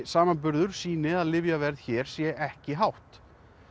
samanburður sýni að lyfjaverð hér sé ekki hátt